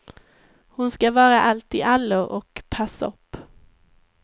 Hon ska vara alltiallo och passopp.